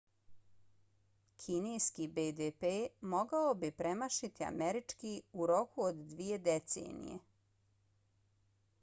kineski bdp mogao bi premašiti američki u roku od dvije decenije